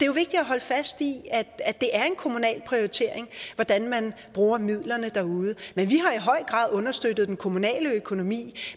jo vigtigt at holde fast i at det er en kommunal prioritering hvordan man bruger midlerne derude men vi har i høj grad understøttet den kommunale økonomi